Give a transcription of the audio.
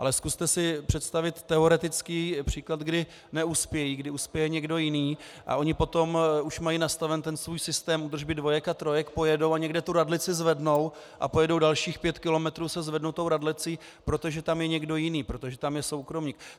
Ale zkuste si představit teoretický příklad, kdy neuspějí, kdy uspěje někdo jiný, a oni potom už mají nastaven ten svůj systém údržby dvojek a trojek, pojedou a někde tu radlici zvednou a pojedou dalších pět kilometrů se zvednutou radlicí, protože tam je někdo jiný, protože tam je soukromník.